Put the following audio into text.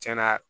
Cɛn na